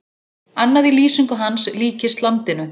Annað í lýsingu hans líkist landinu.